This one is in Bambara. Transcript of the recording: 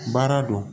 Baara don